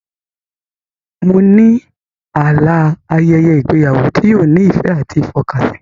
Mo ní àlá a ayẹyẹ ìgbéyàwó tí yóò ní ìfẹ́ àti ìfọkànsìn